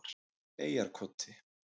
Eyjarkoti